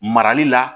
Marali la